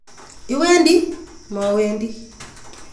Iwendi? Mowendi!